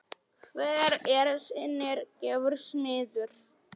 Hver er sinnar gæfu smiður